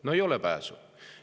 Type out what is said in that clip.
No ei ole pääsu.